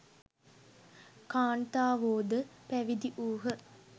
කාන්තාවෝද පැවිදි වූහ.